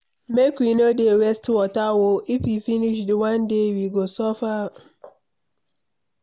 Make we no dey waste water oo if e finish one day we go suffer am